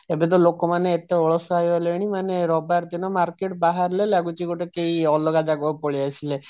ଏବେ ତ ଲୋକମାନେ ଏତେ ଅଳସୁଆ ହେଇ ଗଲେଣି ମାନେ ରବିବାର ଦିନ market ବାହାରିଲେ ଲାଗୁଛି ଗୋଟେ କେଇ ଅଲଗା ଜାଗାକୁ ପଳେଈ ଆସିଲେ